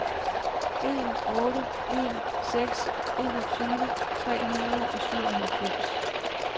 en otte en seks enogtyve tre hundrede og syvoghalvfems